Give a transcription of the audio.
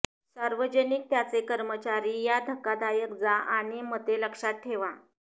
सार्वजनिक त्याचे कर्मचारी या धक्कादायक जा आणि मते लक्षात ठेवा